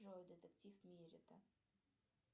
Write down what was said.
джой детектив миретта